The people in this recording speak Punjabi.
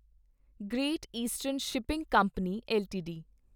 great Eastern Shipping Company LTD